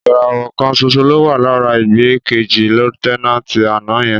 Ìràwọ̀ kan ṣoṣo ló wà lára igbákejì Lútẹ́náǹtì àná yẹn.